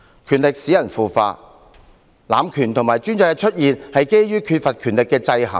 權力使人腐化，濫權和專制的出現是基於缺乏權力的制衡。